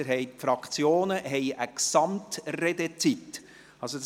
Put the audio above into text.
Die Fraktionen haben je eine Gesamtredezeit zugute.